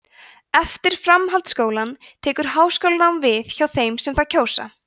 eftir framhaldsskólann tekur háskólanám við hjá þeim sem það kjósa